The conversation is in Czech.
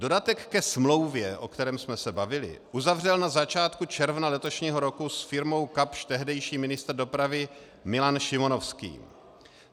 Dodatek ke smlouvě, o kterém jsme se bavili, uzavřel na začátku června letošního roku s firmou Kapsch tehdejší ministr dopravy Milan Šimonovský.